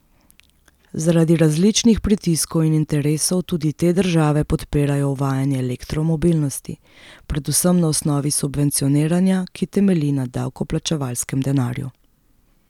Zaradi različnih pritiskov in interesov tudi te države podpirajo uvajanje elektromobilnosti, predvsem na osnovi subvencioniranja, ki temelji na davkoplačevalskem denarju.